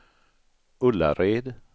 Ullared